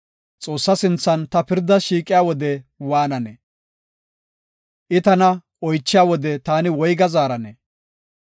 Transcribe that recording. Xoossa sinthan ta pirdas shiiqiya wode waananee? I tana oychiya wode taani woyga zaaranee?